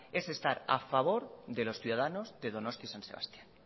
es estar a favor de los ciudadanos de donostia san sebastián